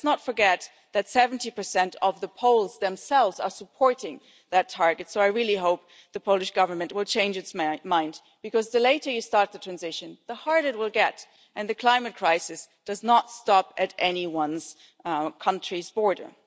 Let's not forget that 70 of the Poles themselves are supporting that target, so I really hope the Polish Government will change its my mind the later you start the transition the harder it will get, and the climate crisis does not stop at any one country's border.